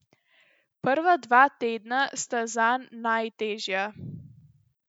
Prva dva tedna sta zanj najtežja.